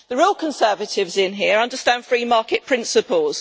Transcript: The real conservatives in here understand free market principles.